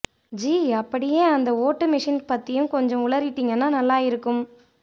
ஜீ அப்படியே அந்த ஓட்டு மெஷின் பத்தியும் கொஞ்ச உளறிட்டிங்கன்னா நல்லா இருக்கும்